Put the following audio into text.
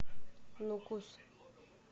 нукус